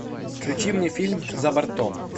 включи мне фильм за бортом